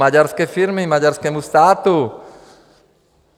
Maďarské firmě, maďarskému státu.